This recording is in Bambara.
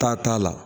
Taa t'a la